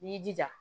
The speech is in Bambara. I y'i jija